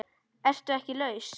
Ertu ekki laus?